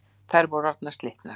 Þær voru orðnar slitnar.